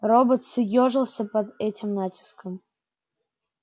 робот съёжился под этим натиском